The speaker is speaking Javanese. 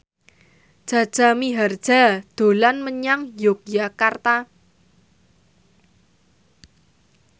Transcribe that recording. Jaja Mihardja dolan menyang Yogyakarta